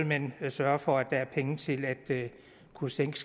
man sørge for at der er penge til at kunne sænke